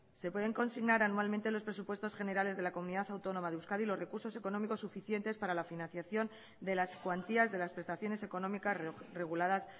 se pueden consignar anualmente en los presupuestos generales de la comunidad autónoma de euskadi los recursos económicos suficientes para la financiación de las cuantías de las prestaciones económicas reguladas